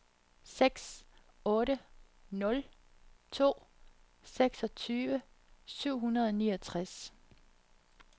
seks otte nul to seksogtyve syv hundrede og niogtres